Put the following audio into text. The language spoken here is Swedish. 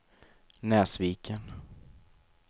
Näsviken